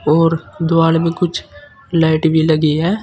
और द्वारा में कुछ लाइट भी लगी है।